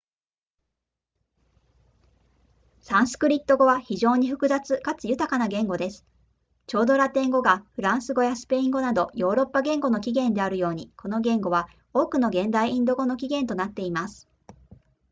サンスクリット語は非常に複雑かつ豊かな言語ですちょうどラテン語がフランス語やスペイン語などヨーロッパ言語の起源であるようにこの言語は多くの現代インド語の起源となっています